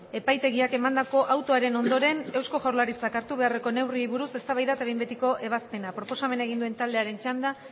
epaitegiak emandako autoaren ondoren eusko jaurlaritzak hartu beharreko neurriei buruz eztabaida eta behin betiko ebazpena proposamena egin duen taldearen txanda